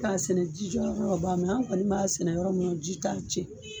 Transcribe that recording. K'a sɛnɛ jijɔyɔrɔ ba an kɔni b'a sɛnɛ yɔrɔ min na o ji tan ce.